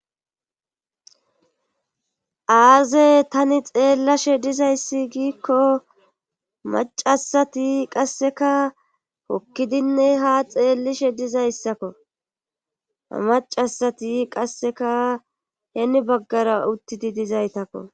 Aaze tani xeellashe diza ayssi giikko maca asati qassikk hokkidinne ha xeellishe diza izako maca asati qassikkka hiini baggara uttidi dizaytakko.